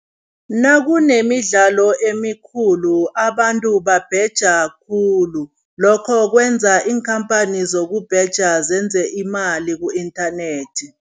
Nakunemidlalo emikhulu abantu babheja khulu, lokho kwenza iinkhamphani zokubheja zenze imali ku-internet.